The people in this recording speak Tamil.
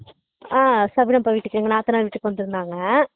ஆஹ் சப்னாபா வீட்டுக்கு எங்க நாத்தனார் வீட்டுக்கு வந்துருந்தாங்க